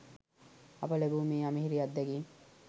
අප ලැබූ මේ අමිහිරි අත්දැකීම්